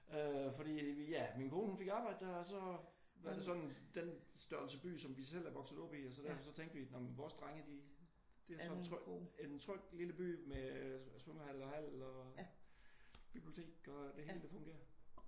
Fordi øh ja min kone hun fik arbejde der og så var det sådan den størrelse by som vi selv er vokset op i og så derfor så tænkte vi vores drenge de det en tryg lille by med svømmehal og hal og bibliotek og det hele det fungerer